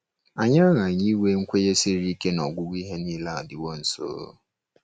Anyị aghaghị inwe nkwenye siri ike na “ọgwụgwụ ihe nile adịwo nso.”